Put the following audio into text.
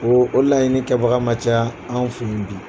o o laɲini kɛbaga ma ca an fɛ yan bi